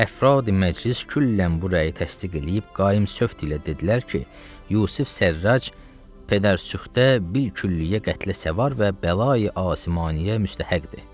Əfradi məclis küllən bu rəyi təsdiq eləyib qaim sövt ilə dedilər ki, Yusif Sərrac pedərsüxdə bilkülliyə qətlə səvar və bəlayi Asimaniyyə müstəhəqqdir.